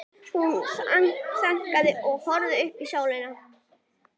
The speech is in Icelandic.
Hún þagnaði og horfði upp í sólina.